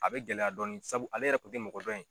A bɛ gɛlɛya dɔɔni sabu ale yɛrɛ kun tɛ mɔgɔ dɔn ye.